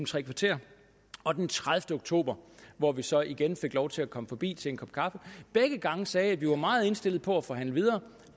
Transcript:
tre kvarter og den tredivete oktober hvor vi så igen fik lov til at komme forbi til en kop kaffe begge gange sagde jeg at vi var meget indstillet på at forhandle videre